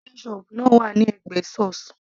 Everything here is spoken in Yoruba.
ketchup náà wà ní ẹ̀gbẹ́ sauce